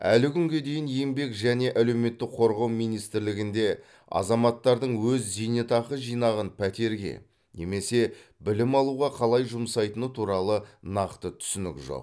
әлі күнге дейін еңбек және әлеуметтік қорғау министрлігінде азаматтардың өз зейнетақы жинағын пәтерге немесе білім алуға қалай жұмсайтыны туралы нақты түсінік жоқ